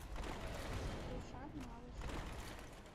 рушан малышев